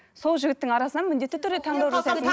сол жігіттің арасынан міндетті түрде таңдау